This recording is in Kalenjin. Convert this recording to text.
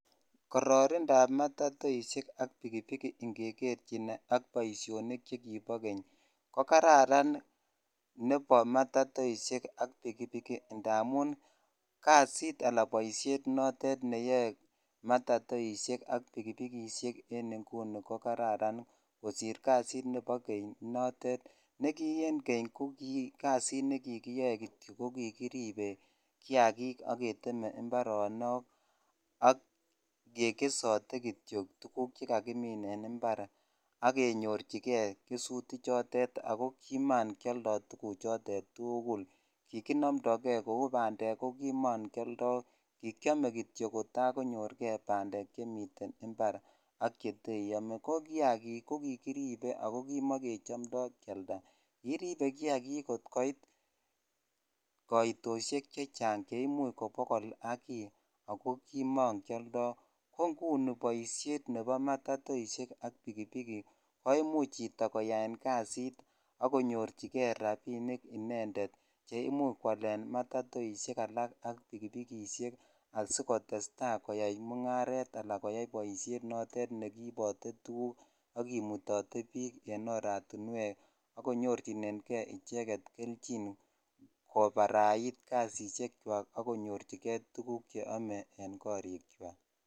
Kororindab matatoishek ak pikipiki ng'eker chin ak boishonik chekibo keny ko kararan nebo matatoisiek ak pikipiki ndamun kasit alaan boishet neyoe matatoisiek ak pikipikisiek en ing'uni ko kararan kosir kasit nebo keny notet nekkii en keny ko kikasit nekikiyoe kitio ko kikiribe kiakik ak keteme imbaronok ak kekesote kitio tukuk cheka kimin en imbar ak kenyorchike kesuti chotet ak ko kimang'ioldo tukuchotet tukul kikinomndokee kouu bandek ko kimong'ioldo, kikiome kitiok kotaa konyorkee bandek chemiten imbar ak cheteiome, ko kiakik ko kikiribe ak ko kimokechomdo kialda, kiiribe kiakik kot koit kaitoshek chechang cheimuch kobokol ak kii ak ko kimong'ioldo, ko ng'uni boishet nebo matatoisiek ak pikipiki komuch chito koyaen kasit ak konyorchike rabinik inendet neimuch kwalen matatoisiek alak ak pikipikisiek asikotesta koyai mung'aret alaan asikoyai boishet notet nekiibote tukuk ak kimutote biik en oratinwek ak konyorchineng'e icheket kelchin kobarait kasishekwak ak konyorchike tukuk cheome en korikwak.